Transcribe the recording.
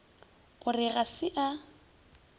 o re ga se a